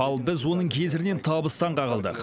ал біз оның кесірінен табыстан қағылдық